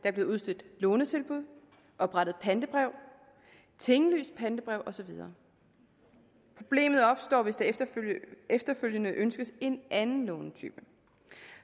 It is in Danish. er blevet udstedt lånetilbud oprettet pantebrev tinglyst pantebrev og så videre problemet opstår hvis der efterfølgende ønskes en anden lånetype